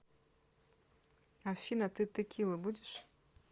афина ты текилу будешь